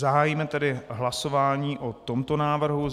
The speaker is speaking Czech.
Zahájíme tedy hlasování o tomto návrhu.